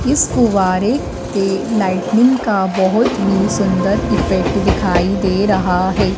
इस फुव्वारे पे लाइटनिंग का बहोत ही सुंदर इफेक्ट दिखाई दे रहा है।